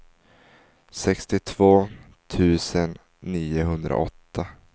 sextiotvå tusen niohundraåtta